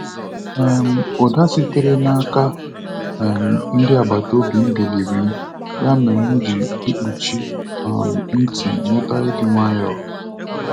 um Ụda sitere n'aka um ndị agbata obi m biliri m, ya mere m ji mkpuchi um ntị nweta ịdị nwayọọ.